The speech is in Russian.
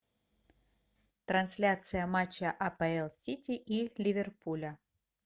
трансляция матча апл сити и ливерпуля